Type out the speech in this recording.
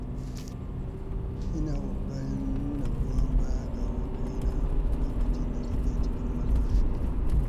Ina ƙoƙarin nuna goyon baya ga abokaina lokacin da suke cikin matsala.